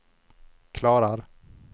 klarar